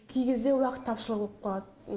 кей кезде уақыт тапшы болып қалады